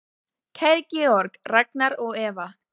Kæri Georg, Ragnar og Eva.